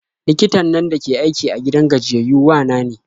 Likitan nan dake aiki a gidan gajiyayyau wa na ne.